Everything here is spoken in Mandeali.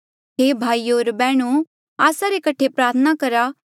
हे भाईयो होर बैहणो आस्सा रे कठे प्रार्थना करा